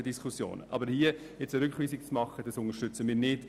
Aber den Antrag, jetzt eine Rückweisung vorzunehmen, unterstützen wir nicht.